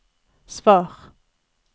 svar